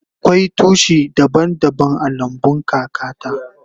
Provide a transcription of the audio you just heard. Akwai tushi daban daban a lambun kaka ta.